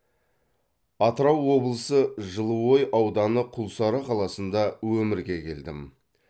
атырау облысы жылыой ауданы құлсары қаласында өмірге келдім